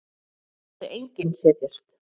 En það mátti enginn setjast.